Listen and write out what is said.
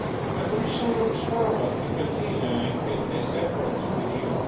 The Commission looks forward to continuing in these efforts with you.